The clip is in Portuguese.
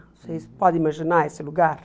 Vocês podem imaginar esse lugar?